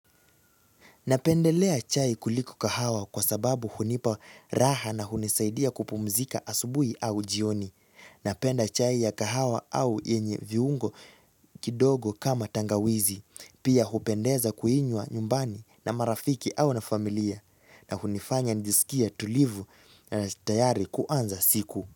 Napendelea chai kuliko kahawa kwasababu hunipa raha na hunisaidia kupumzika asubuhi au jioni. Napenda chai ya kahawa au yenye viungo kidogo kama tangawizi. Pia hupendeza kuinywa nyumbani na marafiki au na familia. Na hunifanya nijisikie tulivu na tayari kuanza siku.